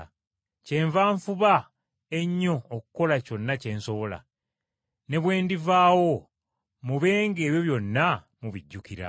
Kyenva nfuba ennyo okukola kyonna kye nsobola, ne bwe ndivaawo mube ng’ebyo byonna mubijjukira.